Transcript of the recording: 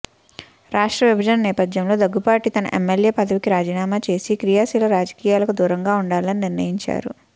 రాష్ట్ర విభజన నేపథ్యంలో దగ్గుబాటి తన ఎమ్మెల్యే పదవికి రాజీనామా చేసి క్రియాశీల రాజకీయాలకు దూరంగా ఉండాలని నిర్ణయించారు